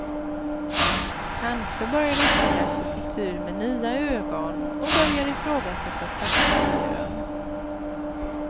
Kanske börjar de se arkitektur med nya ögon och börjar ifrågasätta stadsmiljön.